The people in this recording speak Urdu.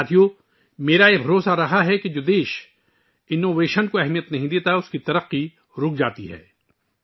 دوستو، میرا ہمیشہ سے یہ ماننا ہے کہ جو ملک اختراع کو اہمیت نہیں دیتا، اس کی ترقی رک جاتی ہے